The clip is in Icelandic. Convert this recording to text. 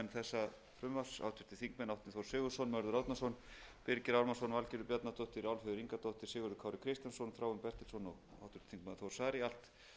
þessa frumvarps háttvirtur þingmaður árni þór sigurðsson mörður árnason birgir ármannsson valgerður bjarnadóttir álfheiður ingadóttir sigurður kári kristjánsson þráinn bertelsson og háttvirtur þingmaður þór saari allt